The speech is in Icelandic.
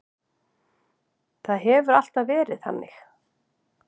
Það hefur alltaf verið þannig.